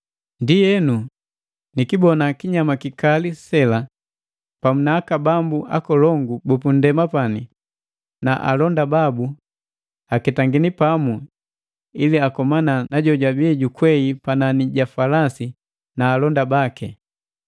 Ndienu, nikibona kinyama kikali sela pamu na aka bambu akolongu bupu nndema na alonda babu aketangini pamu ili akomana na jojabii jukwei panani ja falasi na alonda baki.